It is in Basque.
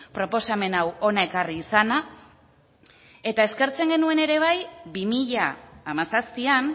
proposamen hau hona ekarri izana eta eskertzen genuen ere bai bi mila hamazazpian